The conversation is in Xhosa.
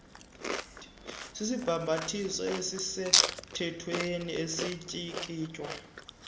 sisibhambathiso esisemthethweni esityikitywa